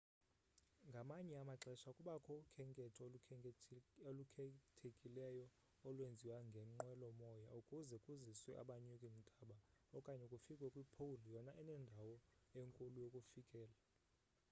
ngamanye amaxesha kubakho ukhenketho olukhethekileyo olwenziwa ngenqwelo moya ukuze kuziswe abanyuki ntaba okanye kufikwe kwi-pole yona enendawo enkulu yokufikela